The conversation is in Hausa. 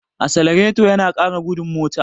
Asalareto yana ƙara gudun mota.